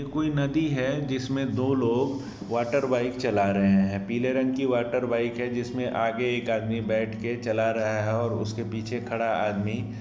ये कोई नदी है इसमें जिसमे दो लोग वाटर बाइक चला रहे है पीले रंग की वाटर बाइक है जिसमे आगे एक आदमी बैठ के चला रहा है और उसके पीछे खड़ा आदमी--